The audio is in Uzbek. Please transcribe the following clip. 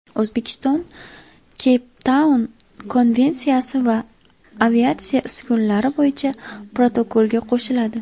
O‘zbekiston Keyptaun Konvensiyasi va Aviatsiya uskunalari bo‘yicha protokolga qo‘shiladi.